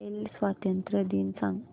Israel स्वातंत्र्य दिन सांग